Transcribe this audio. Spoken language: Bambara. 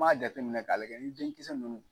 N m'a jateminɛ k'a llajɛ n'i denkisɛ ninnu